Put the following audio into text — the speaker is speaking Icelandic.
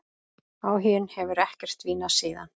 Áhuginn hefur ekkert dvínað síðan.